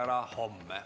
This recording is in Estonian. Aitäh!